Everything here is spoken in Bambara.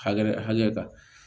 Hakɛ hakɛ kan